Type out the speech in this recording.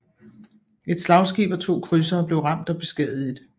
Et slagskib og to krydsere blev ramt og beskadiget